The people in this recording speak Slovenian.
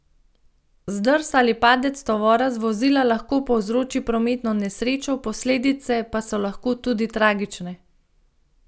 Zdrs ali padec tovora z vozila lahko povzroči prometno nesrečo, posledice pa so lahko tudi tragične.